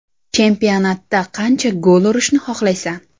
Chempionatda qancha gol urishni xohlaysan?